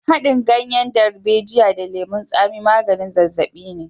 Haɗin ganyen darbejiya da lemon tsami maganin zazzaɓi ne.